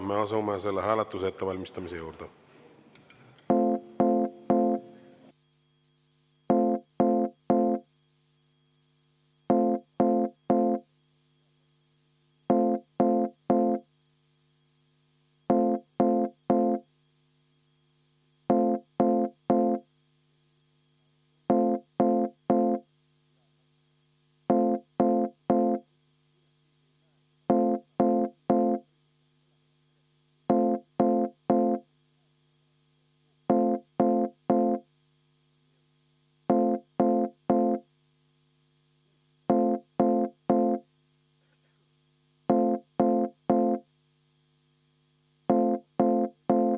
Me asume selle hääletuse ettevalmistamise juurde.